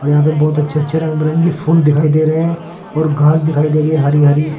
यहां पे बहुत अच्छे अच्छे रंग बिरंगी फूल दिखाई दे रहे हैं और घास दिखाई दे रही है हरि हरि।